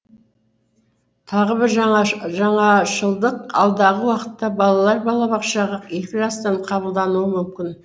тағы бір жаңашылдық алдағы уақытта балалар балабақшаға екі жастан қабылдануы мүмкін